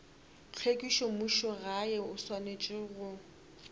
tlhwekišo mmušogae o swanetše go